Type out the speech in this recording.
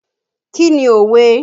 Kí ni òwe?